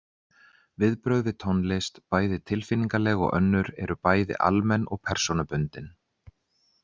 Viðbrögð við tónlist, bæði tilfinningaleg og önnur, eru bæði almenn og persónubundin.